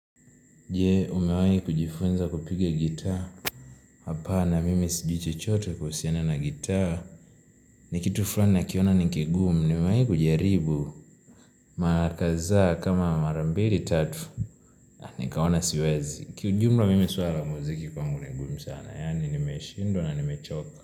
Je, umewahini kujifunza kupiga gitaa, hapana mimi sijui chote kuhusiana na gitaa, ni kitu fulani nakiona ni kingumu, nimewahi kujaribu, mara kazaa kama mara mbili tatu, nikaona siwezi, kijumla mimi swala la muziki kwangu ni ngumi sana, yani nimeshindwa na nimechoka.